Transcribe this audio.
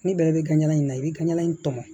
Ni bɛɛ bɛ ka ɲaga in na i bɛ ka ɲaga in tɔmɔ